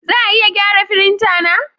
Za a iya gyara firinta na?